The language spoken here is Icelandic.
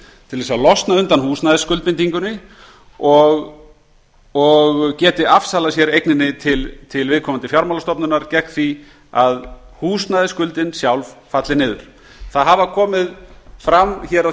til að losna undan húsnæðisskuldbindingunni og geti afsalað sér eigninni til viðkomandi fjármálastofnunar gegn því að húsnæðisskuldin sjálf falli niður hér á þinginu hafa komið